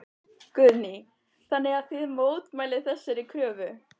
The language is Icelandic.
Guðný: Þannig að þið mótmælið þessari kröfu?